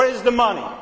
Where is the money?